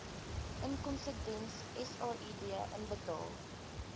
inkomstediens said inbetaal